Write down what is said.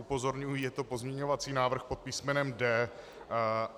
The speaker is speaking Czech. Upozorňuji, je to pozměňovací návrh pod písmenem D.